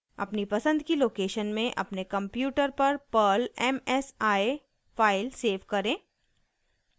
अपनी पसंद की लोकेशन में अपने कंप्यूटर पर perl msi फाइल सेव करें